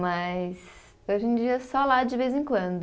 Mas, hoje em dia é só lá de vez em quando.